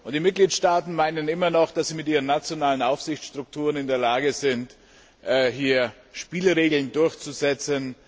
Die Mitgliedstaaten meinen immer noch, dass sie mit ihren nationalen Aufsichtsstrukturen in der Lage sind, hier Spielregeln durchzusetzen.